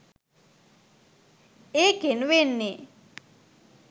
ඒකෙන් වෙන්නේ